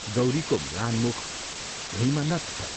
गौरीको म्लान मुख भुइँमा नत छ।